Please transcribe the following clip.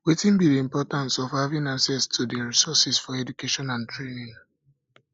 wetin um be di importance um of having access to um di resources for education and training